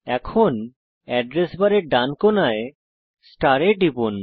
এখন এড্রেস বারের ডান কোনায় স্টার এ টিপুন